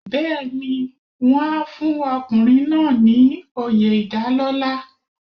Bẹ́ẹ̀ni, wọ́n á fún ọkùnrin náà ní oyè ìdálọ́lá.